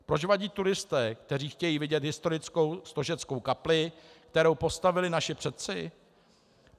Proč vadí turisté, kteří chtějí vidět historickou stožeckou kapli, kterou postavili naši předci?